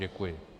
Děkuji.